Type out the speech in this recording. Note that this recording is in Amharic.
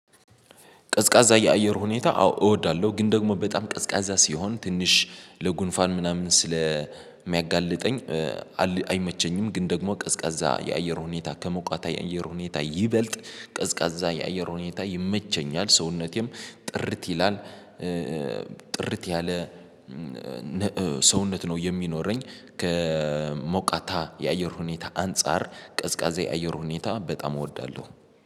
ቀዝቃዛ የአየር ሁኔታ አዎ እወዳለሁ ግን ደግሞ በጣም ቀዝቃዛ ሲሆን ትንሽ ለጉንፋን ምናምን ስለሚያጋልጠኝ አይመቸኝም። ግን ደግሞ ቀዝቃዛ የአየር ሁኔታ ከሞቃት የአየር ሁኔታ ይበልጥ ቀዝቃዛ የአየር ሁኔታ ይመቸኛል ሰውነቴም ጥርት ይላል ጥርት ያለ ሰውነት ነው የሚኖረኝ። ከሞቃታ የአየር ሁኔታ አንፃር ቀዝቃዛ የአየር ሁኔታ በጣም እወዳለሁ